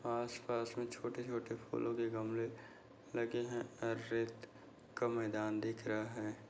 आस पास मे छोटे छोटे फूलों के गमले लगे है रेत का मैदान दिख रहा है।